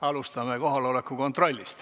Alustame kohaloleku kontrolli.